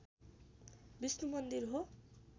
विष्णु मन्दिर हो